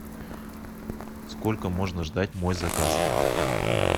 сколько можно ждать мой заказ